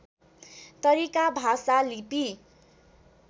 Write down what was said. तरिका भाषा लिपि